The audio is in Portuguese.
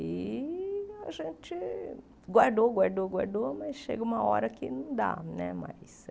E a gente guardou, guardou, guardou, mas chega uma hora que não dá né mais.